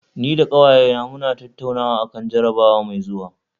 Ni da ƙawayena mun tattaunawa akan jarabawa mai zuwa